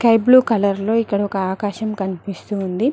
Sky blue colour లో ఇక్కడ ఒక ఆకాశం కనిపిస్తుంది.